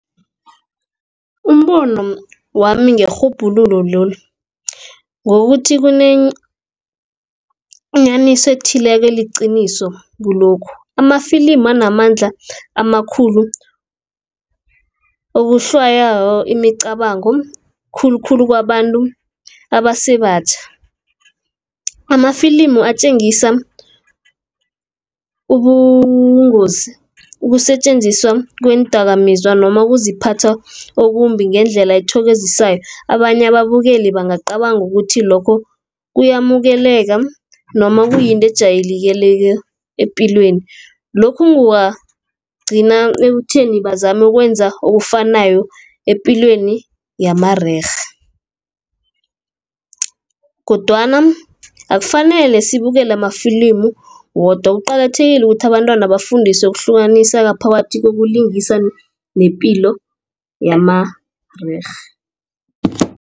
Umbono wami ngerhubhululo lolu ngokuthi kunenyaniso ethileko eliqiniso kulokhu. Amafilimi anamandla amakhulu okuswayoko imicabango khulukhulu kwabantu abasebatjha amafilimi atjengisa ubungozi ukusetjenziswa kweendakamizwa noma kuziphatha okumbi ngendlela ethokozisayo abanye ababukeli bangacabanga ukuthi lokho kuyamukeleka noma kuyinto ejayelekileko epilweni. Lokhu kungagcina ekutheni bazame ukwenza okufanayo epilweni yamarerhe. Kodwana akufanele sibukele amafilimi wodwa kuqakathekile ukuthi abantwana bafundiswe ukuhlukanisa phakathi kokuhlukanisa ipilo yamarerhe.